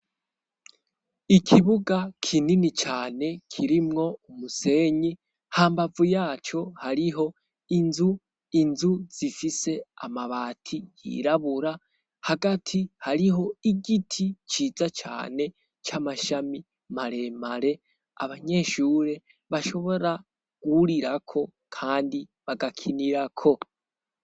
ikibuga kinini cane kirimwo umusenyi ha mbavu yaco hariho inzu inzu zifise amabati yirabura hagati hariho igiti ciza cane c'amashami maremare abanyeshure bashobora guhurirako kandi bagakinirako